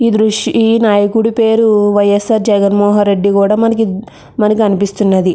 ఈ దృశ్యం ఈ నాయకుడి పేరు వైయస్సార్ జగన్ మోహన్ రెడ్డి కూడా మనకి అనిపిస్తున్నది.